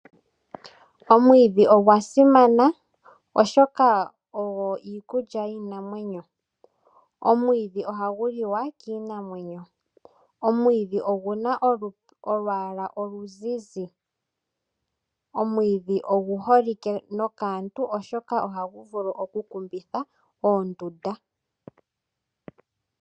Omwiidhi ogwa simana oshoka ogwo Iikulya yiinamwenyo. Omwiidhi ohagu liwa kiinamwenyo. Omwiidhi oluna oluyala oluzizi. Omwiidhi ogu holike nokaantu oshoka ohagu vulu oku kumbithwa oondunda.